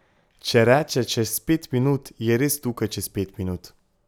Če reče čez pet minut, je res tukaj čez pet minut.